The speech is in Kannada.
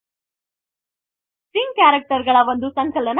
ಸ್ಟ್ರಿಂಗ್ ಕ್ಯಾರೆಕ್ಟರ್ ಗಳ ಒಂದು ಸಂಕಲನ ವಾಗಿದೆ